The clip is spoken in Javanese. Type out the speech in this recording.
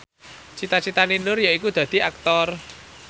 cita citane Nur yaiku dadi Aktor